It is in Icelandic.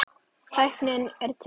Tæknin er til.